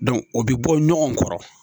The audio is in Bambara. o bɛ bɔ ɲɔgɔn kɔrɔ.